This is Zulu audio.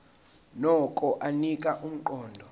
nokho anika umqondo